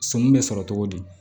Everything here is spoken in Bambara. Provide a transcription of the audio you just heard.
Sɔmi be sɔrɔ togo di